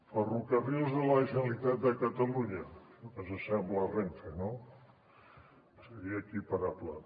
ferrocarrils de la generalitat de catalunya això que s’assembla a renfe no seria equiparable